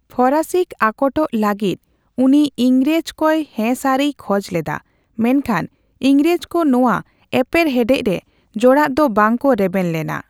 ᱯᱷᱚᱨᱟᱥᱤᱠᱚ ᱟᱠᱚᱴᱠᱚ ᱞᱟᱹᱜᱤᱫ ᱩᱱᱤ ᱤᱝᱨᱮᱡᱽ ᱠᱚᱭ ᱦᱮᱸ ᱥᱟᱹᱨᱤᱭ ᱠᱷᱚᱡᱽ ᱞᱮᱫᱟ, ᱢᱮᱱᱠᱷᱟᱱ ᱤᱝᱨᱮᱡᱽᱠᱚ ᱱᱚᱣᱟ ᱮᱯᱮᱨ ᱦᱮᱸᱰᱮᱡᱽ ᱨᱮ ᱡᱚᱲᱟᱜ ᱫᱚ ᱵᱟᱝᱠᱚ ᱨᱮᱵᱮᱱ ᱞᱮᱱᱟ ᱾